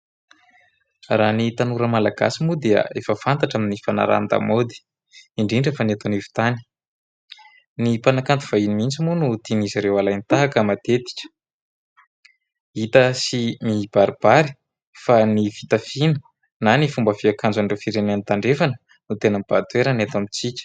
Raha ny tanora malagasy moa dia efa fantatra amin'ny fanarahan-damaody indrindra fa ny eto anivon-tany, ny mpanakanto vahiny mihintsy moa no tian'izy ireo alain-tahaka matetika, hita sy mibaribary fa ny fitafiana na ny fomba fiakanjoan'ireo firenena tandrefana no tena mibahan-toerana eto amintsika.